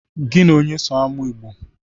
Gi na onye so amụ Igbo?